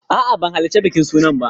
A'a, ban halarci bikin suna ba.